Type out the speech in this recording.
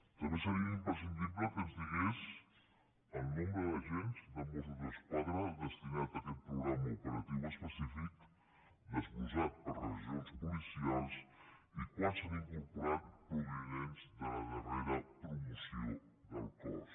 també seria imprescindible que ens digués el nombre d’agents de mossos d’esquadra destinat a aquest programa operatiu específic desglossat per regions policials i quants s’hi han incorporat provinents de la darrera promoció del cos